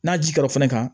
N'a ji kɛr'o fana kan